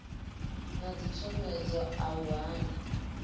na dzitshomedzo a u hana